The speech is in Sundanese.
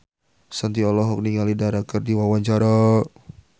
Shanti olohok ningali Dara keur diwawancara